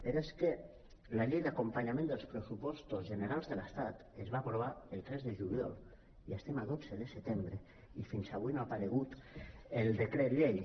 però és que la llei d’acompanyament dels pressupostos generals de l’estat es va aprovar el tres de juliol i estem a dotze de desembre i fins avui no ha aparegut el de·cret llei